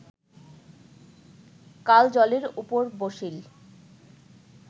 কাল জলের উপর বসিল